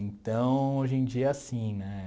Então, hoje em dia é assim, né?